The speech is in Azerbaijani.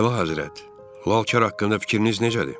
Əlahəzrət, Lalkar haqqında fikriniz necədir?